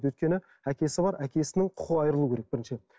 өйткені әкесі бар әкесінің құқығы айырылу керек біріншіден